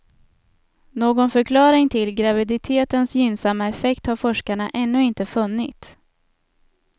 Någon förklaring till graviditetens gynnsamma effekt har forskarna ännu inte funnit.